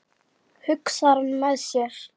hugsar hann með sér.